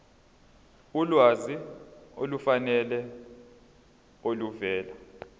ulwazi olufanele oluvela